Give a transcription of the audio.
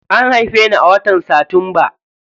An haife ni a watan satumba.